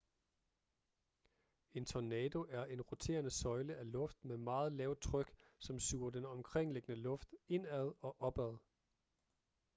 en tornado er en roterende søjle af luft med meget lavt tryk som suger den omkringliggende luft indad og opad